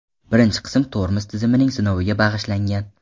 Birinchi qism tormoz tizimining sinoviga bag‘ishlangan .